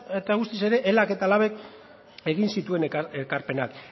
eta guztiz ere elak eta labk egin zituen ekarpenak